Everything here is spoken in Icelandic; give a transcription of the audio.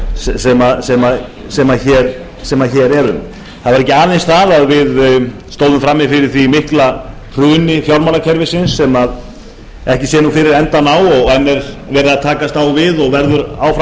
sem hér erum ógleymanlegur ég held ég geti fullyrt það ekki aðeins stóðum við frammi fyrir miklu hruni fjármálakerfisins sem ekki sér fyrir endann á sem enn er verið að takast á við og verður áfram